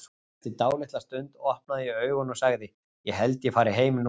Eftir dálitla stund opnaði ég augun og sagði: Ég held að ég fari heim núna.